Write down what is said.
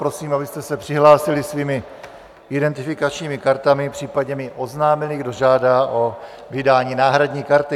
Prosím, abyste se přihlásili svými identifikačními kartami, případně mi oznámili, kdo žádá o vydání náhradní karty.